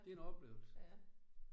Det en oplevelse